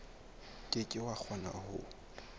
ke ke wa kgona ho